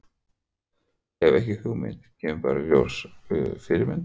Hef ekki hugmynd, kemur bara í ljós Fyrirmynd?